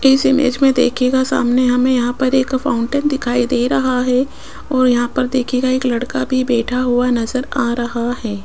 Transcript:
इस इमेज में देखिएगा सामने हमें यहां पर एक फाउंटेन दिखाई दे रहा है और यहां पर देखिएगा एक लड़का भी बैठा हुआ नजर आ रहा है।